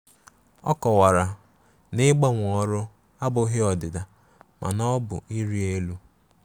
Ọ kowara na ịgbanwe ọrụ abụghị ọdịda, mana ọ bụ ịrị elu.